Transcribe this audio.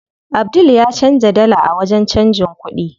Abdul ya canza dala a wajen canjin kuɗi.